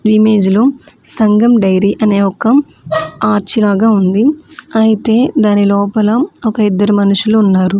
ఈ ఇమేజ్ లో సంగం డైరీ అనే ఒక ఆర్చ్ లాగా ఉంది ఐతే దాని లోపల ఒక ఇద్దరు మనుషులు ఉన్నారు.